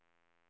bidrag